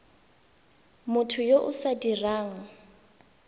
motho yo o sa dirang